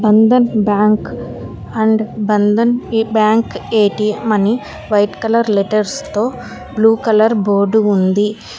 Bandhan Bank and Bandhan Bank ATM అని white colour letters తో blue colour board ఉంది.